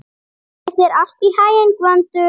Gangi þér allt í haginn, Gvöndur.